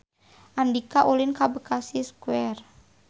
Andika ulin ka Bekasi Square